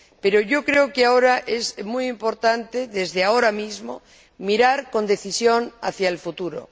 Pero yo creo que ahora es muy importante, mirar, desde ahora mismo, con decisión hacia el futuro.